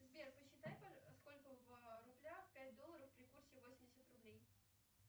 сбер посчитай сколько в рублях пять долларов при курсе восемьдесят рублей